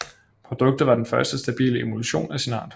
Produktet var den første stabile emulsion af sin art